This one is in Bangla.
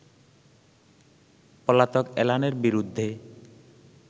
পলাতক এলানের বিরুদ্ধে